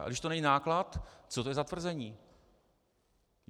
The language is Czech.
A když to není náklad, co to je za tvrzení?